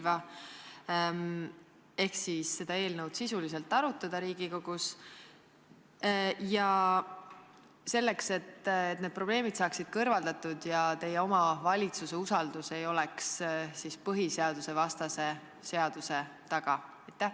Kas te kavatsete seda eelnõu sisuliselt arutada Riigikogus, selleks et need probleemid saaksid kõrvaldatud ja teie oma valitsus ei oleks põhiseadusvastase seaduse taga?